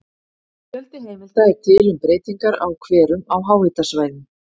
Fjöldi heimilda er til um breytingar á hverum á háhitasvæðum.